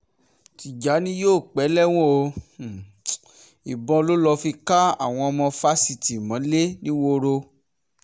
tìjàni yìí yóò pẹ́ lẹ́wọ̀n o um ìbọn ló lọ́ọ́ fi ká àwọn ọmọ fásitì um mọ́lẹ̀ nìwòrò